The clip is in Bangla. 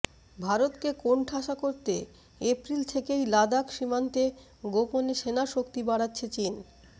ভারতকে কোণঠাসা করতে এপ্রিল থেকেই লাদাখ সীমান্তে গোপনে সেনা শক্তি বাড়াচ্ছে চিন